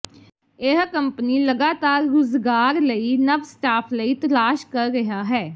ਇਹ ਕੰਪਨੀ ਲਗਾਤਾਰ ਰੁਜ਼ਗਾਰ ਲਈ ਨਵ ਸਟਾਫ ਲਈ ਤਲਾਸ਼ ਕਰ ਰਿਹਾ ਹੈ